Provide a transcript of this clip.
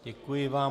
Děkuji vám.